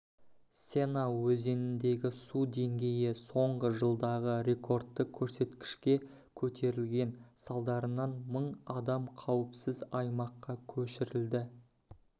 сена өзеніндегі су деңгейі соңғы жылдағы рекордты көрсеткішке көтерілген салдарынан мың адам қауіпсіз аймаққа көшірілді